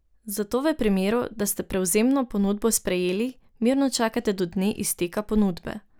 Zato v primeru, da ste prevzemno ponudbo sprejeli, mirno čakate do dne izteka ponudbe.